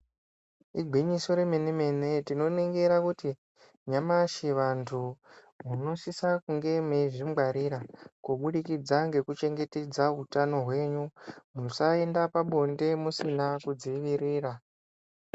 Igwinyiso re mene mene tino ningira kuti nyamashi vantu muno sisa kunge meizvi ngwarira kubudikidza ngeku chengetedza utano hwenyu musa enda pa bonde musina ku dzivirira.